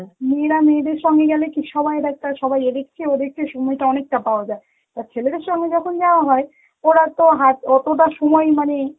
মেয়েরা মেয়েদের সঙ্গে গেলে কি, সবাই ব্যস্ত, সবাই এ দেখছে ও দেখছে সময়টা অনেকটা পাওয়া, আর ছেলেদের সঙ্গে যখন যাওয়া হয় ওরা তো হাট~ অতটা সময় মানে